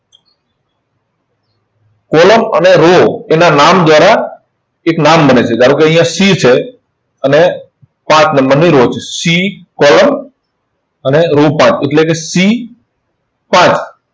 column અને row તેના નામ, દ્વારા એક નામ બને છે. જયારે, જો અહિંયા C છે, અને સાત નંબરની row છે. C column અને row સાત. એટલે કે C સાત.